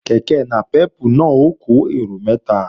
Kèké nàpẹ́pù náà ó kó èrò mẹ́ta